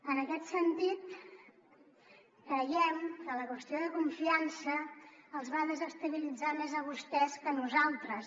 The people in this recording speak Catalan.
en aquest sentit creiem que la qüestió de confiança els va desestabilitzar més a vostès que a nosaltres